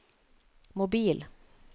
mobil